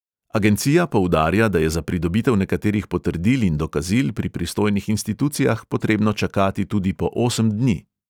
Agencija poudarja, da je za pridobitev nekaterih potrdil in dokazil pri pristojnih institucijah potrebno čakati tudi po osem dni.